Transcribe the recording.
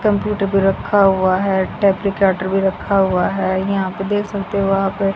computer भी रखा हुआ है टेप्लिकेटर भी रखा हुआ है यहां पे देख सकते हो आप--